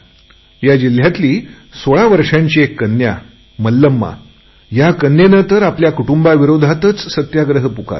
या जिल्ह्यातली सोळा वर्षाची एक कन्या मल्लमा या कन्येने तर आपल्या कुटुंबाविरोधातच सत्याग्रह पुकारला